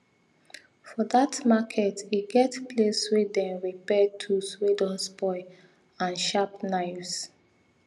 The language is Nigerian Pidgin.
for that makert e get place wey them repair tools wey don spoil and sharp knives